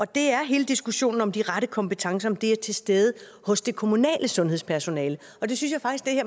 det er hele diskussionen om hvorvidt de rette kompetencer er til stede hos det kommunale sundhedspersonale og det synes